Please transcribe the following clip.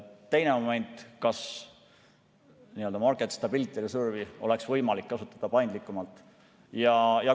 Teine moment, kas Market Stability Reserve'i oleks võimalik kasutada paindlikumalt?